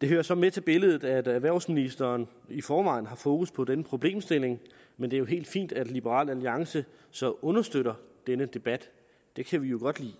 det hører så med til billedet at erhvervsministeren i forvejen har fokus på denne problemstilling men det er helt fint at liberal alliance så understøtter denne debat det kan vi jo godt lide